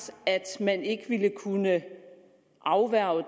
at man ikke ville kunne afværge